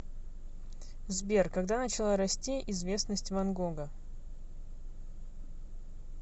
сбер когда начала расти известность ван гога